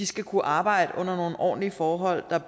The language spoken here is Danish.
skal kunne arbejde under nogle ordentlige forhold der